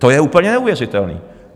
To je úplně neuvěřitelné!